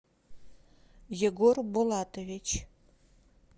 егор булатович